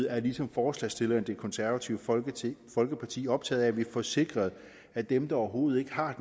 er ligesom forslagsstillerne det konservative folkeparti folkeparti optaget af at vi får sikret at dem der overhovedet ikke har